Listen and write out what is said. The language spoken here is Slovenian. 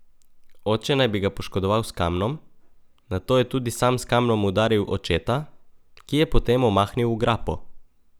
Oče naj bi ga poškodoval s kamnom, nato je tudi sam s kamnom udaril očeta, ki je potem omahnil v grapo.